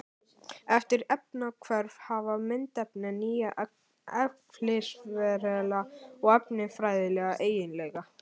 Eftir efnahvörf hafa myndefnin nýja eðlisfræðilega og efnafræðilega eiginleika.